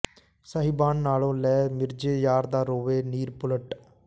ਸਾਹਿਬਾਨ ਨਾਨੋਂ ਲੈ ਮਿਰਜ਼ੇ ਯਾਰ ਦਾ ਰੋਵੇ ਨੀਰ ਪੁਲਟ